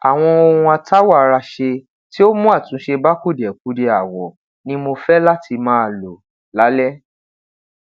awọn ohun atawọ ara ṣe ti o mu atunṣe ba kudiẹkudiẹ awọ ni mo fẹ lati maa lo lalẹ